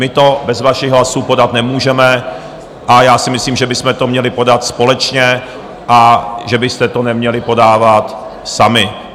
My to bez vašich hlasů podat nemůžeme a já si myslím, že bychom to měli podat společně a že byste to neměli podávat sami.